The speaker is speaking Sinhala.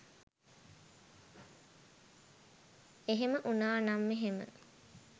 එහෙම වුනා නම් එහෙම